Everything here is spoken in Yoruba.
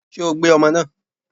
Ṣé o gbé ọmọ náà?